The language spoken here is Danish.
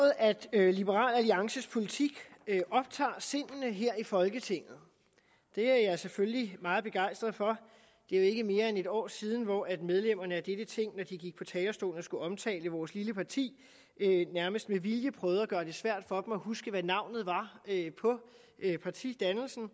at liberal alliances politik optager sindene her i folketinget det er jeg selvfølgelig meget begejstret for det er jo ikke mere end et år siden hvor medlemmerne af dette ting når de gik på talerstolen og skulle omtale vores lille parti nærmest med vilje prøvede at gøre det svært for dem selv at huske hvad navnet på partidannelsen